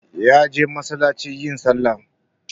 Ya je masallaci yin sallah